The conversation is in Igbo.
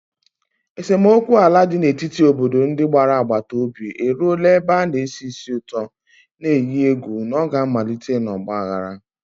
Esemokwu ala dị n'etiti obodo ndị gbara agbata obi eruola ebe na-esi ísì ụtọ, na-eyi egwu na ọ ga-amalite n'ọgba aghara.